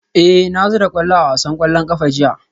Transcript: Eh na zura kwallo a wasan kwallon kafa jiya